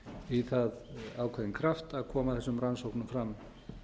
í það ákveðinn kraft að koma þessum rannsóknum fram